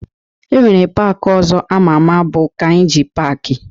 E nwere paaki ọzọ ama ama bụ Kainji paaki